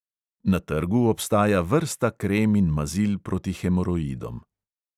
Na trgu obstaja vrsta krem in mazil proti hemoroidom.